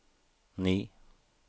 ni